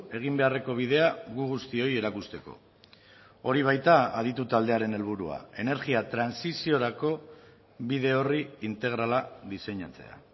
egin beharreko bidea gu guztioi erakusteko hori baita aditu taldearen helburua energia trantsiziorako bide orri integrala diseinatzea